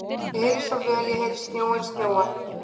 Ég heyri svo vel, ég heyri snjóinn snjóa.